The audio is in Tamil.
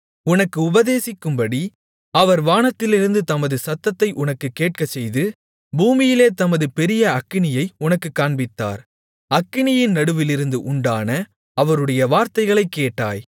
உனக்கு உபதேசிக்கும்படி அவர் வானத்திலிருந்து தமது சத்தத்தை உனக்குக் கேட்கச்செய்து பூமியிலே தமது பெரிய அக்கினியை உனக்குக் காண்பித்தார் அக்கினியின் நடுவிலிருந்து உண்டான அவருடைய வார்த்தைகளைக் கேட்டாய்